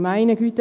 Meine Güte!